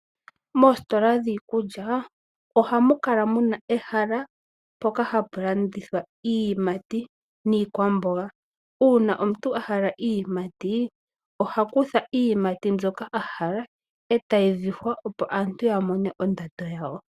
Moositola dhiikulya ohamu kala muna ehala mpoka hapu landithwa iiyimati niikwamboga uuna omuntu a hala iiyimati oha kutha iiyimati mbyoka a hala etayi vihwa opo aantu ya mone ondando yawo.